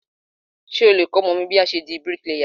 Ṣé o lè kọ́ ọmọ mi bí a ṣe di bíríkìlà?